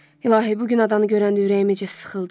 İlahi, bu gün adanı görəndə ürəyim necə sıxıldı.